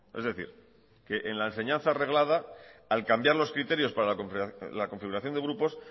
es decir que en la enseñanza reglada al cambiar los criterios para la configuración de grupos